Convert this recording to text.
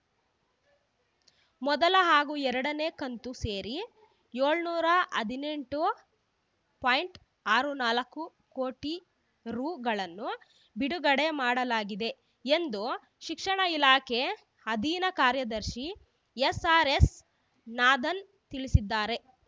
ಮೊದಲ ಹಾಗೂ ಎರಡನೇ ಕಂತು ಸೇರಿ ಏಳುನೂರ ಹದಿನೆಂಟು ಪಾಯಿಂಟ್ ಆರು ನಾಲ್ಕು ಕೋಟಿ ರುಗಳನ್ನು ಬಿಡುಗಡೆ ಮಾಡಲಾಗಿದೆ ಎಂದು ಶಿಕ್ಷಣ ಇಲಾಖೆ ಅಧೀನ ಕಾರ್ಯದರ್ಶಿ ಎಸ್‌ಆರ್‌ಎಸ್‌ ನಾಧನ್‌ ತಿಳಿಸಿದ್ದಾರೆ